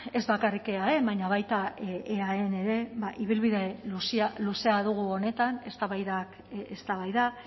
ez bakarrik eaen baina baita eaen ere ibilbide luzea dugu honetan eztabaidak eztabaida